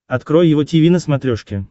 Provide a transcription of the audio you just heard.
открой его тиви на смотрешке